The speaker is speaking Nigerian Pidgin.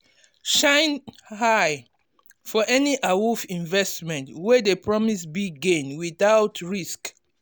shine um eye for any awoof investment wey dey promise big gain without risk.